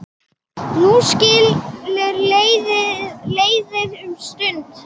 Nú skilur leiðir um stund.